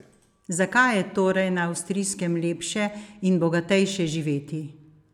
Zakaj je torej na Avstrijskem lepše in bogatejše živeti?